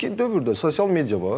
Amma indiki dövrdə sosial media var.